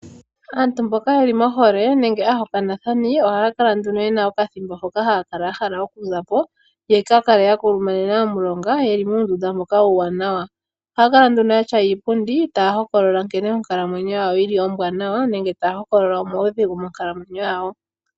Aantu mboka ye li mohole nenge aahokanathani ohaa kala nduno ye na okathimbo hoka haya kala ya hala okuza po, ya ka kale ya kulumanena omulonga, ye li muundunda mboka uuwanawa. Ohaya kala nduno ya tya iipundi taya hokolola nkene onkalamwenyo yawo ombwanawa nenge taya hokolola omaudhigu monkalamwenyo yawo.